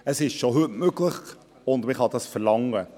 Es ist bereits heute möglich, und man kann das verlangen.